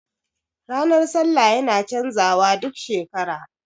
Ranar sallah yana canza wa duk shekara